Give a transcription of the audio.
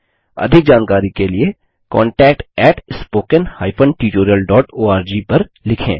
अधिक जानकारी के लिए contactspoken tutorialorg पर लिखें